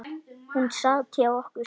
Hún sat hjá okkur